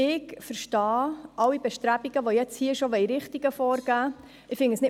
Ich verstehe alle Bestrebungen, dafür schon Richtungen vorgeben zu wollen.